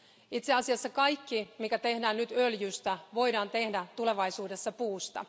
Itse asiassa kaikki, mikä tehdään nyt öljystä, voidaan tehdä tulevaisuudessa puusta.